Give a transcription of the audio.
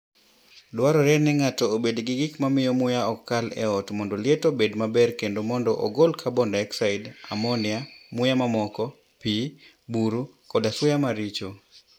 Dwarore ni ng'ato obed gi gik ma miyo muya ok kal e ot mondo liet obed maber kendo mondo ogol carbon dioxide, ammonia, muya mamoko, pi, buru, koda suya maricho.